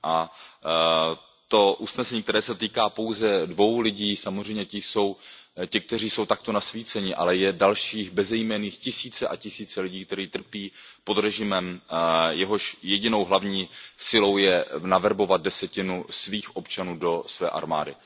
A to usnesení, které se týká pouze dvou lidí, samozřejmě ti jsou těmi, kteří jsou takto nasvíceni, ale je dalších bezejmenných tisíce a tisíce lidí, kteří trpí pod režimem, jehož jedinou hlavní silou je naverbovat desetinu svých občanů do své armády.